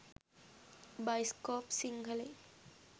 bioscope සිංහලෙන්